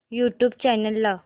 YouTube channel लाव